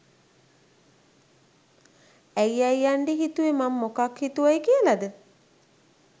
ඇයි අයියණ්ඩි හිතුවේ මම මොකක් හිතුවයි කියලද?